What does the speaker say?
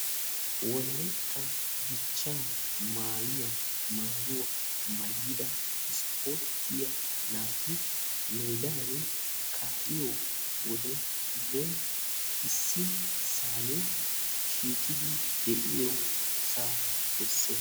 Wolaytta dichcha maayuwa maayidda naati issi bolla shiiqiddi dembban de'oyooga besees.